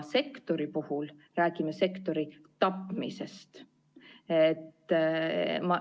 Sektori puhul räägime sektori tapmisest.